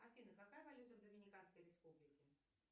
афина какая валюта в доминиканской республике